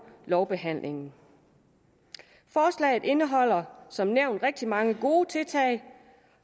lovbehandlingen forslaget indeholder som nævnt rigtig mange gode tiltag